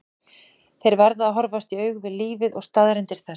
Þeir verða að horfast í augu við lífið og staðreyndir þess.